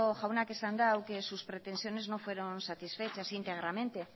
jaunak esan du que sus pretensiones no fueron satisfechas íntegramente